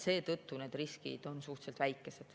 Seetõttu on need riskid suhteliselt väikesed.